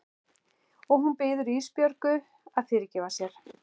Og hún biður Ísbjörgu að fyrirgefa sér.